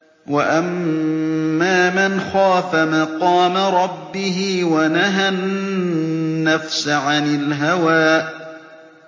وَأَمَّا مَنْ خَافَ مَقَامَ رَبِّهِ وَنَهَى النَّفْسَ عَنِ الْهَوَىٰ